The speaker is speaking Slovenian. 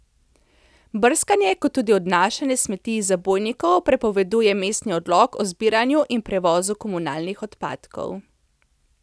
Brskanje kot tudi odnašanje smeti iz zabojnikov prepoveduje mestni odlok o zbiranju in prevozu komunalnih odpadkov.